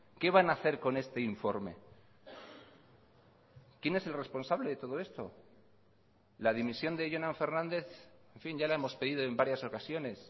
qué van a hacer con este informe quién es el responsable de todo esto la dimisión de jonan fernández en fin ya la hemos pedido en varias ocasiones